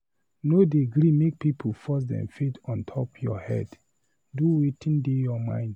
No dey gree make pipu force dem faith on top your head, do wetin dey your mind.